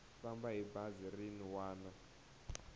famba hi bazi rin wana